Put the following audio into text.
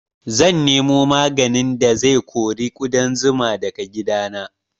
Zan nemo maganin da zai kori ƙudan zuma daga gidana